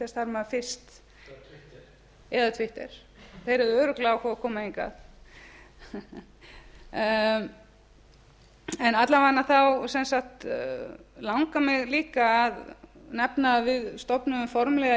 þarf maður fyrst eða twitter eða twitter þeir verða örugglega að fá að koma hingað alla vega langar mig líka að nefna að við stofnuðum formlega í